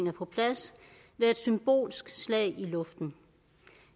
er på plads være et symbolsk slag i luften